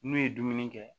N'u ye dumuni kɛ